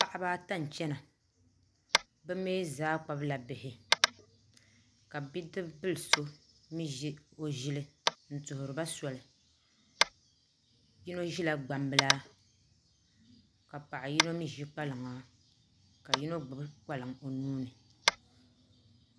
Paɣaba ata n chɛna bi mii zaa kpabila bihi ka bidib bili so mii ʒi o ʒili n tuhuriba soli yino ʒila gbambila ka paɣa yino mii ʒi kpalaŋa ka yino gbubi kpalaŋ o nuuni